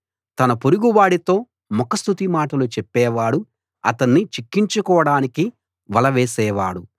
తన పొరుగువాడితో ముఖ స్తుతి మాటలు చెప్పేవాడు అతణ్ణి చిక్కించు కోడానికి వలవేసేవాడు